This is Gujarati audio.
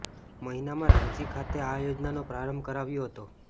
મહિનામાં રાંચી ખાતે આ યોજનાનો પ્રારંભ કરાવ્યો હતો